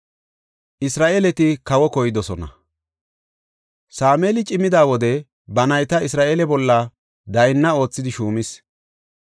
Sameeli cimida wode ba nayta Isra7eele bolla daynna oothidi shuumis.